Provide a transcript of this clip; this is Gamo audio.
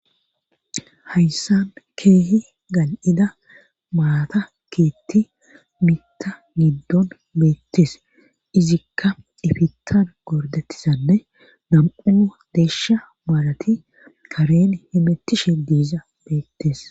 Hayssan keehi gan'ida maalata keetti mita niddon beettes izikka ifittan gordettisanne gam'ua deeshsha maalati karen hemettishe deeza beettes